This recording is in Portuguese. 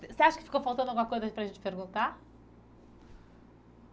Você acha que ficou faltando alguma coisa para a gente perguntar?